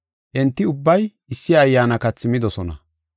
Enti ubbay issi ayyaana kathi midosona.